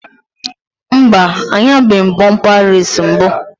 Mba, anyabeghi m bọmpa reesi mbụ